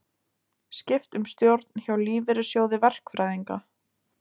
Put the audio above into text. Skipt um stjórn hjá Lífeyrissjóði verkfræðinga